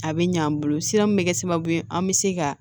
A bɛ ɲ'an bolo sira min bɛ kɛ sababu ye an bɛ se ka